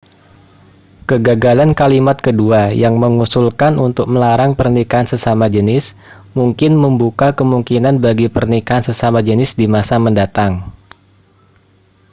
kegagalan kalimat kedua yang mengusulkan untuk melarang pernikahan sesama jenis mungkin membuka kemungkinan bagi pernikahan sesama jenis di masa mendatang